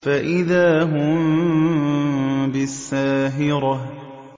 فَإِذَا هُم بِالسَّاهِرَةِ